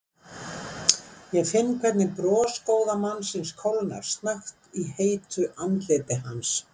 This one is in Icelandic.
Ég finn hvernig bros góða mannsins kólnar snöggt í heitu andliti hans.